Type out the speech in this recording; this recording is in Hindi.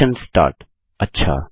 सेशन स्टार्ट अच्छा